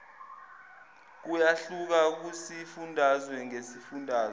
kuyahluka kusifundazwe ngesifundazwe